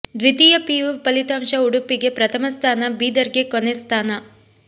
ದ್ವಿತೀಯ ಪಿಯು ಫಲಿತಾಂಶ ಉಡುಪಿಗೆ ಪ್ರಥಮ ಸ್ಥಾನ ಬೀದರ್ಗೆ ಕೊನೆ ಸ್ಥಾನ